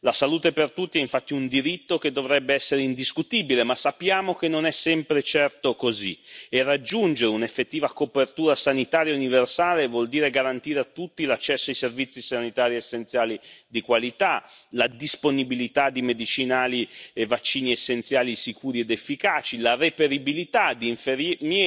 La salute per tutti, infatti, è un diritto che dovrebbe essere indiscutibile, ma sappiamo che non è sempre certo così e raggiungere un'effettiva copertura sanitaria universale vuol dire garantire a tutti l'accesso a servizi sanitari essenziali di qualità, la disponibilità di medicinali e vaccini essenziali sicuri ed efficaci, la reperibilità di infermieri,